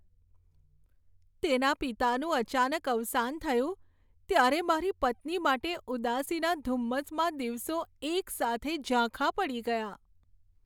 તેના પિતાનું અચાનક અવસાન થયું ત્યારે મારી પત્ની માટે ઉદાસીના ધુમ્મસમાં દિવસો એકસાથે ઝાંખા પડી ગયા.